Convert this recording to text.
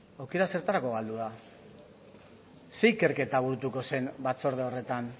aukera zertarako galdu da zer ikerketa buruko zen batzorde horretan